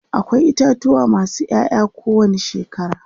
akwai itatuwa masu Yaya ko wani shekara